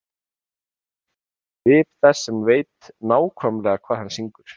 Hann setur upp svip þess sem veit nákvæmlega hvað hann syngur.